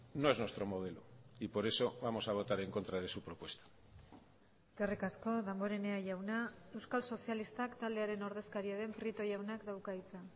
no es nuestro modelo y por eso vamos a votar en contra de su propuesta eskerrik asko damborenea jauna euskal sozialistak taldearen ordezkaria den prieto jaunak dauka hitza